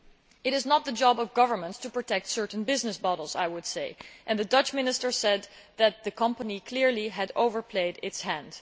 It is not the job of governments to protect certain business models, and the Dutch minister said that the company had clearly overplayed its hand.